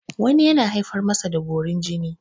wani yana haifar masa da borin jini